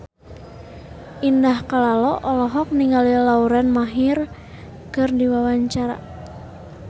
Indah Kalalo olohok ningali Lauren Maher keur diwawancara